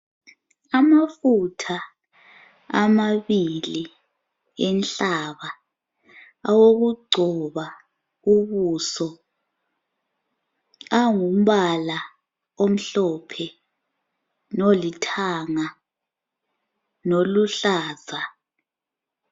Amafutha amabili enhlaba awokugcoba ubuso angumbala omhlophe lolithanga loluhlaza.